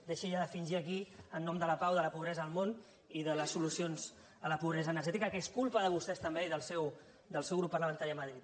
deixi ja de fingir aquí en nom de la pau de la pobresa al món i de les solucions a la pobresa energètica que és culpa de vostès també i del seu grup parlamentari a madrid